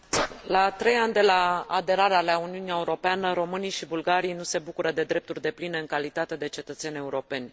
La trei ani de la aderarea la Uniunea Europeană românii și bulgarii nu se bucură de drepturi depline în calitate de cetățeni europeni.